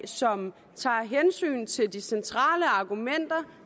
som tager hensyn til de centrale argumenter